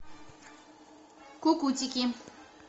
кукутики